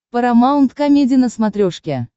парамаунт комеди на смотрешке